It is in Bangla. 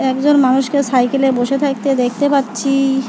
একজন মানুষকে সাইকেলে বসে থাকতে দেখতে পাচ্ছি।